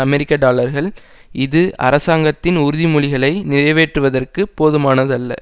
அமெரிக்க டாலர்கள் இது அரசாங்கத்தின் உறுதிமொழிகளை நிறைவேற்றுவதற்கு போதுமானதல்ல